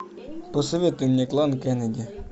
посоветуй мне клан кеннеди